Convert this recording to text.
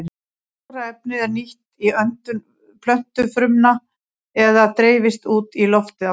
Þetta súrefni er nýtt í öndun plöntufrumna eða dreifist út í loftið aftur.